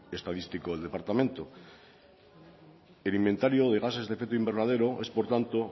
el órgano estadístico del departamento el inventario de gases de efecto invernadero es por tanto